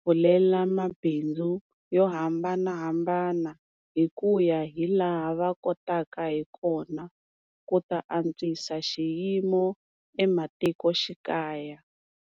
pfulela mabindzu yo hambanahambana hi ku ya hi laha va kotaka hi kona ku ta antswisa xiyimo ematikoxikaya.